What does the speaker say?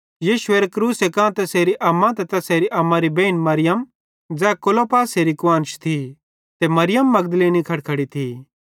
यीशुएरे क्रूसे कां तैसेरी अम्मा ते तैसेरी अम्मारी बेइन मरियम ज़ै क्लोपासेरी कुआन्श थी मरियम मगदलीनी खड़खड़ी थी